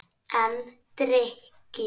En drykkju